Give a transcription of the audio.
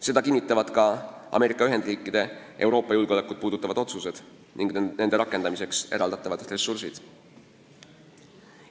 Seda kinnitavad ka Ameerika Ühendriikide Euroopa julgeolekut puudutavad otsused ning nende rakendamiseks eraldatavad ressursid.